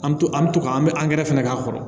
An bɛ to an bɛ to ka an bɛ angɛrɛ fɛnɛ k'a kɔrɔ